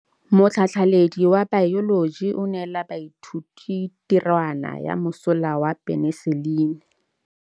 Motlhatlhaledi wa baeloji o neela baithuti tirwana ya mosola wa peniselene.